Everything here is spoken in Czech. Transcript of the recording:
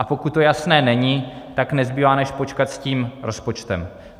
A pokud to jasné není, tak nezbývá, než počkat s tím rozpočtem.